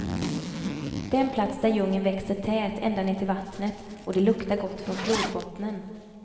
Den plats där djungeln växer tät ända ner till vattnet och det luktar gott från flodbottnen.